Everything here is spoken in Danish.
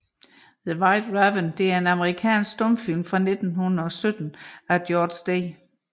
The White Raven er en amerikansk stumfilm fra 1917 af George D